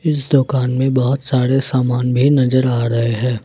इस दुकान में बहुत सारे सामान भी नजर आ रहे हैं।